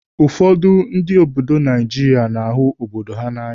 Ụfọdụ ndị obodo Naijiria na-ahụ obodo ha na'anya.